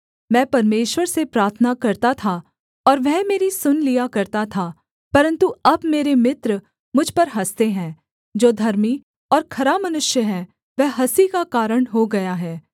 मैं परमेश्वर से प्रार्थना करता था और वह मेरी सुन लिया करता था परन्तु अब मेरे मित्र मुझ पर हँसते हैं जो धर्मी और खरा मनुष्य है वह हँसी का कारण हो गया है